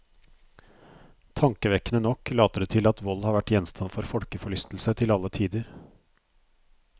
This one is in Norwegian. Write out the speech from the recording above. Tankevekkende nok later det til at vold har vært gjenstand for folkeforlystelse til alle tider.